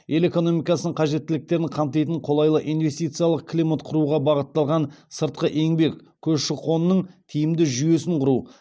ел экономикасының қажеттіліктерін қамтитын қолайлы инвестициялық климат құруға бағытталған сыртқы еңбек көші қонының тиімді жүйесін құру